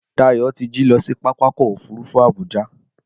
Dayọ̀ ti jí lọ sí pápákọ̀ òfurufú Abuja